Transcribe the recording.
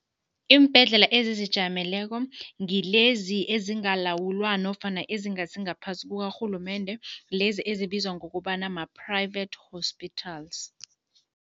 Iimbhedlela ezizijameleko ngilezi ezingalawula nofana ezingasi ngaphasi kukarhulumende, lezi ezibizwa ngokobana ma-private hospitals.